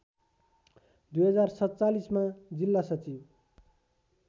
२०४७मा जिल्ला सचिव